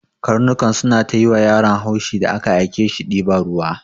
Karnukan suna ta yiwa yaron haushi da aka ake shi diban ruwa.